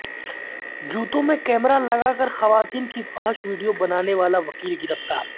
جوتوں میں کیمرہ لگا کر خواتین کی فحش ویڈیو بنانے والا وکیل گرفتار